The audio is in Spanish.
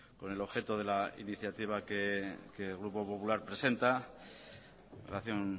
con el objeto de la iniciativa que el grupo popular presenta en relación